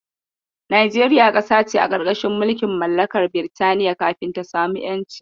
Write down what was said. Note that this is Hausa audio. Najeriya ƙasa ce a ƙarƙashin mulkin mallakar Birtaniya kafin ta samu ƴanci.